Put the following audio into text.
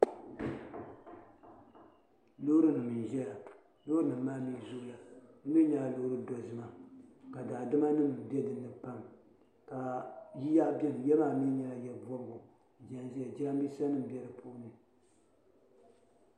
Lɔɔrinim. n ʒɛya lɔɔrinim maa mini ʒɛya maa, bimi nyɛla. lɔɔri do zi ma. ka daa dama nim be dini pam , ka yiya beni yiya maa mi nyɛla, ya bɔb gu n veli ʒɛya, jiran bisa nim be di puuni.